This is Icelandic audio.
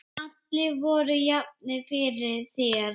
Allir voru jafnir fyrir þér.